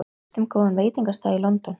Veistu um góðan veitingastað í London?